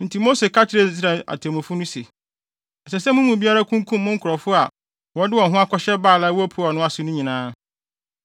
Enti Mose ka kyerɛɛ Israel atemmufo no no se, “Ɛsɛ sɛ mo mu biara kunkum mo nkurɔfo a wɔde wɔn ho akɔhyɛ Baal a ɛwɔ Peor no ase no nyinaa.”